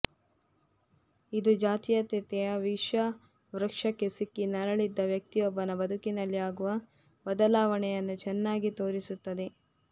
ಇದು ಜಾತೀಯತೆಯ ವಿಷವೃಕ್ಷಕ್ಕೆ ಸಿಕ್ಕಿ ನರಳಿದ್ದ ವ್ಯಕ್ತಿಯೊಬ್ಬನ ಬದುಕಿನಲ್ಲಿ ಆಗುವ ಬದಲಾವಣೆಯನ್ನು ಚೆನ್ನಾಗಿ ತೋರಿಸುತ್ತದೆ